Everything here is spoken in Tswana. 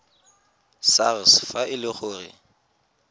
sars fa e le gore